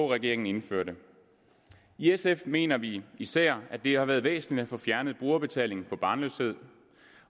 regeringen indførte i sf mener vi især at det har været væsentligt at få fjernet brugerbetalingen for barnløshed